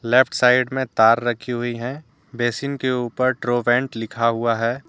Left side में तार रखी हुई हैं बेसिन के ऊपर ट्रोवंत लिखा हुआ है।